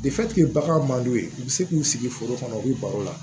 bagan man d'u ye u bɛ se k'u sigi foro kɔnɔ u bɛ baro la